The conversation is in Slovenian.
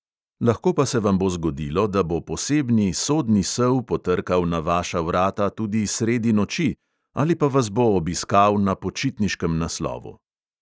Lahko pa se vam bo zgodilo, da bo posebni sodni sel potrkal na vaša vrata tudi sredi noči ali pa vas bo obiskal na počitniškem naslovu.